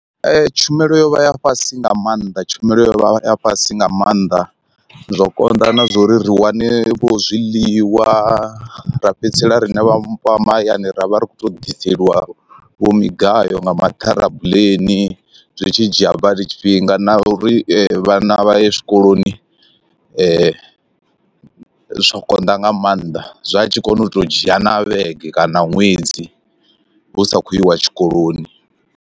Tshumelo yo vha ya fhasi nga maanḓa tshumelo yo vha ya fhasi nga maanḓa, zwo konḓa na zwa uri ri wane vho zwiḽiwa ra fhedzisela riṋe vhafha mahayani ra vha ri khou tou ḓiseliwa vho migayo nga ma ṱharabuḽeni zwi tshi dzhia badi tshifhinga na uri vhana vha ye zwikoloni zwo konḓa nga maanḓa zwa tshi koni u to dzhia na vhege kana ṅwedzi hu sa khou iwa tshikoloni.